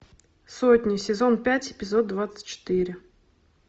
сотня сезон пять эпизод двадцать четыре